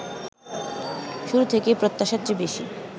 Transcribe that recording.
শুরু থেকেই প্রত্যাশার চেয়ে বেশি